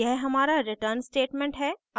यह हमारा return statement है